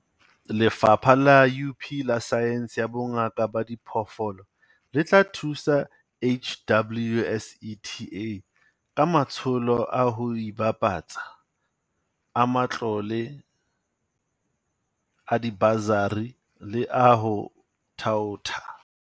Lefapha la UP la Saense ya Bongaka ba Diphoofolo le tla thusa HWSETA ka matsholo a ho ipapatsa, a matlole a dibasari le a ho thaotha.